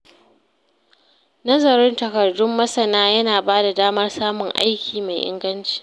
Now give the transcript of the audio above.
Nazarin takardun masana ya na bada damar samun aiki mai inganci.